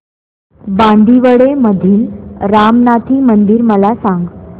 बांदिवडे मधील रामनाथी मंदिर मला सांग